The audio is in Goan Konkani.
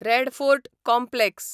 red Fort complex